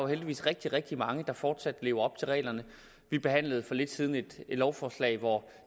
heldigvis rigtig rigtig mange der fortsat lever op til reglerne vi behandlede for lidt siden et lovforslag hvor